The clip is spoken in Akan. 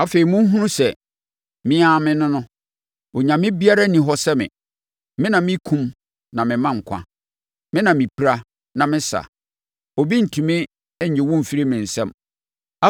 “Afei, monhunu sɛ, me ara me ne no! Onyame biara nni hɔ sɛ me! Me na mekum na mema nkwa: Me na mepira, na mesa; obi ntumi nnye wo mfiri me nsam.